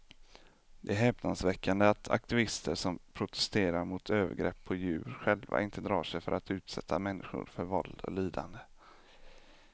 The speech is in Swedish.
Det är häpnadsväckande att aktivister som protesterar mot övergrepp på djur själva inte drar sig för att utsätta människor för våld och lidande.